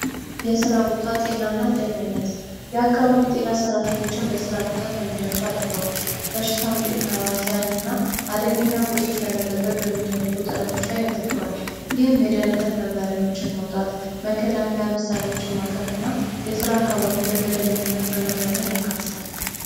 የስራ ቦታ ጤናና ደህንነት የአካባቢ ጠና ሰራተኞችን በራ ቦታ ከሚደርሱ አደጋ ውጭ በሽታ አምጪያን እና አደገኛ ቁሶች ለመጠበቅ በሚደረጉ ጥረቶች ላይ ያተኩራል። ይህም የደህንነት መመሪያዎችን መውጣት፣ መከላከያ መሳሪያዎች ማቅረብ እና የስራ አካባቢ በመደበኝነት ምመምህርን ያካትታል።